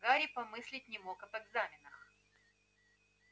гарри и помыслить не мог об экзаменах